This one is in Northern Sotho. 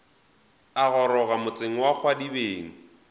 a goroga motseng wa kgwadibeng